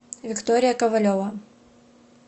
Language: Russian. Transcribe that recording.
виктория ковалева